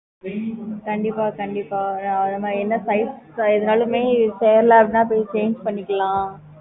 கண்டிப்பா கண்டிப்பா நம்ப என்ன size எதுனாலுமே சேரல அப்படினா change போய் பண்ணிக்கலாம்